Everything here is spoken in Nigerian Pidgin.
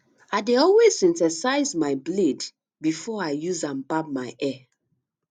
i dey always synthesize my blade before i use am barb my hair